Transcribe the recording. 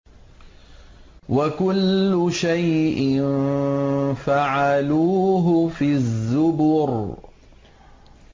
وَكُلُّ شَيْءٍ فَعَلُوهُ فِي الزُّبُرِ